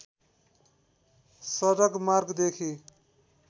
सडक मार्गदेखि